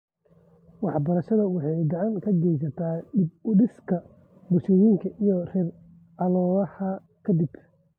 Waxbarashadu waxay gacan ka geysataa dib u dhiska bulshooyinka rer colaadaha ka dib.